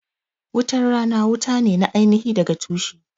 Wutan rana wuta ne na aini hi daga tushe